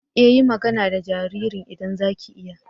E! yi magana da jaririn idan za ki iya.